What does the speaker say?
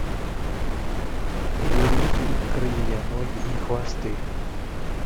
набери фильм крылья ноги и хвосты